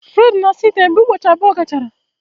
Fred na-asa ite ya mgbe ụbọchị abụọ gachara